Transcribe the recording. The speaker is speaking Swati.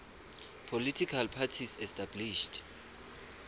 political parties established